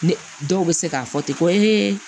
Ne dɔw bɛ se k'a fɔ ten ko